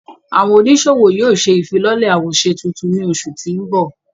Àwọn onisowo yóò ṣe ifilọlẹ awoṣe tuntun ni oṣu ti nbọ.